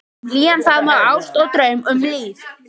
Um hlýjan faðm og ást og draum, um líf